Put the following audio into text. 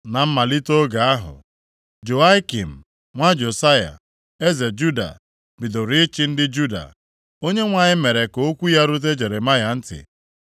Na mmalite oge ahụ, Jehoiakim nwa Josaya eze Juda bidoro ịchị ndị Juda, Onyenwe anyị mere ka okwu ya rute Jeremaya ntị.